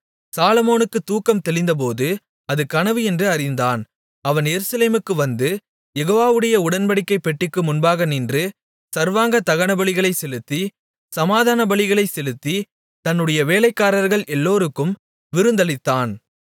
சாலொமோனுக்கு தூக்கம் தெளிந்தபோது அது கனவு என்று அறிந்தான் அவன் எருசலேமுக்கு வந்து யெகோவாவுடைய உடன்படிக்கைப் பெட்டிக்கு முன்பாக நின்று சர்வாங்க தகனபலிகளை செலுத்தி சமாதானபலிகளைச் செலுத்தி தன்னுடைய வேலைக்காரர்கள் எல்லோருக்கும் விருந்தளித்தான்